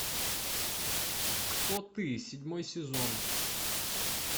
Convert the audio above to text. кто ты седьмой сезон